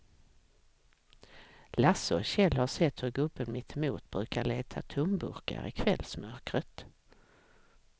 Lasse och Kjell har sett hur gubben mittemot brukar leta tomburkar i kvällsmörkret.